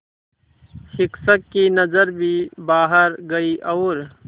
शिक्षक की नज़र भी बाहर गई और